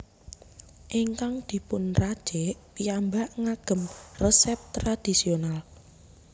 Ingkang dipun racik piyambak ngagem resep resep tradisional